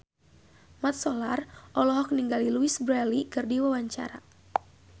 Mat Solar olohok ningali Louise Brealey keur diwawancara